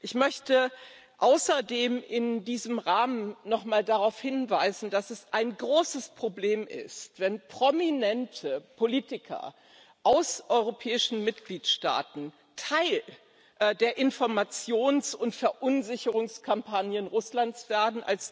Ich möchte außerdem in diesem Rahmen noch mal darauf hinweisen, dass es ein großes Problem ist, wenn prominente Politiker aus europäischen Mitgliedstaaten Teil der Informations und Verunsicherungskampagnen Russlands werden.